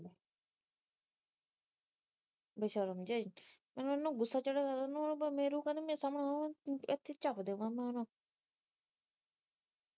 ਇਹਨੂੰ ਸ਼ਰਮ ਨਹੀਂ ਆਈ ਜਦੋ ਇਹਨੂੰ ਗੁਸਾ ਚੜਿਆ ਹੋਇਆ ਮੈਨੂੰ ਕਾਤੋ ਇੱਥੇ ਈ ਚਬ ਦੇਵਾ